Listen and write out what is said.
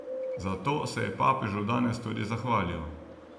Za to se je papežu danes tudi zahvalil.